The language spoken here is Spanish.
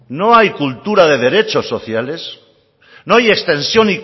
no hay cultura de derechos sociales no hay extensión